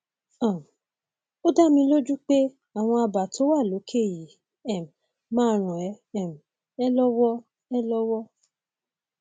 um ó dá mi lójú pé àwọn àbá tó wà lókè yìí um máa ràn um ẹ lọwọ ẹ lọwọ